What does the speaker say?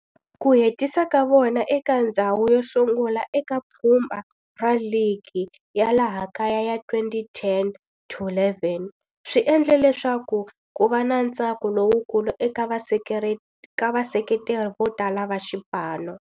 Ku hetisa ka vona eka ndzhawu yosungula eka pfhumba ra ligi ya laha kaya ya 2010 to 11 swi endle leswaku kuva na ntsako lowukulu eka vaseketeri vo tala va xipano.